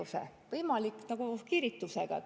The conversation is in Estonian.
See on samamoodi nagu kiiritusega.